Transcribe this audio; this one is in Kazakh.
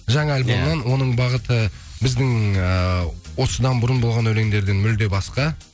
жаңа альбомнан оның бағыты біздің эээ осыдан бұрын болған өлеңдерден мүлдем басқа